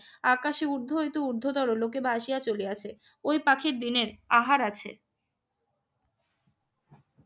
আকাশে উর্ধ্ব একটি ঊর্ধ্বতর লোকে ভাসিয়া চলিয়াছে। ওই পাখির দিনের আহার আছে।